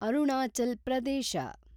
Arunachal Pradesh